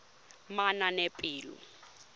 manaanepalo